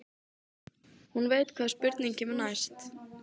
Hún veit hvaða spurning kemur næst.